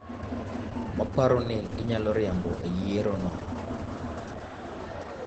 maparo ni ginyalo riambo e yiero no...